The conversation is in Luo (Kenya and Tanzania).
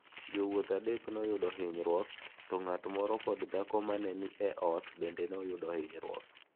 Jowuoth adek noyudo hinyruok to ng’at moro kod dhako ma ne ni e ot bende ne oyudo hinyruok.